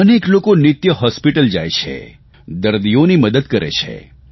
અનેક લોકો નિત્ય હોસ્પિટલ જાય છે દર્દીઓની મદદ કરે છે